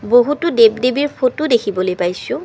বহুতো দেৱ-দেৱীৰ ফটো দেখিবলৈ পাইছোঁ।